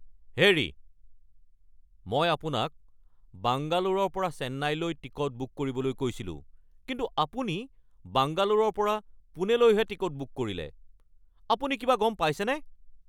হেৰি! মই আপোনাক বাংগালোৰৰ পৰা চেন্নাইলৈ টিকট বুক কৰিবলৈ কৈছিলোঁ কিন্তু আপুনি বাংগালোৰৰ পৰা পুনেলৈহে টিকট বুক কৰিলে। আপুনি কিবা গম পাইছেনে?